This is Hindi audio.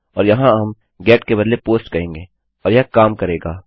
और यहाँ हम गेट के बदले पोस्ट कहेंगे और यह काम करेगा